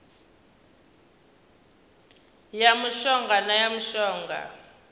ya mushonga na ya mushonga